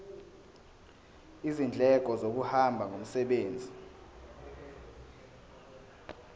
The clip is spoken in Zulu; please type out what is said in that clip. izindleko zokuhamba ngomsebenzi